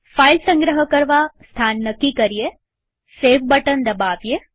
file સંગ્રહ કરવા સ્થાન નક્કી કરીએસેવ બટન દબાવીએ